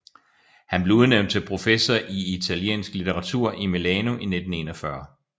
Han blev udnævnt til professor i italiensk litteratur i Milano i 1941